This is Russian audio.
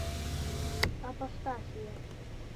апостасия